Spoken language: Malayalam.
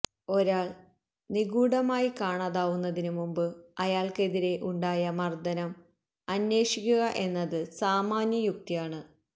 ഒരാള് നിഗുഢമായി കാണാതാവുന്നതിനു മുമ്പ് അയാള്ക്കെതിരെ ഉണ്ടായ മര്ദ്ദനം അന്വേഷിക്കുക എന്നത് സാമാന്യ യുക്തിയാണ്